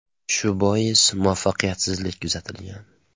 Shu bois muvaffaqiyatsizlik kuzatilgan.